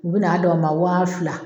U bɛ na d' aw ma waa fila.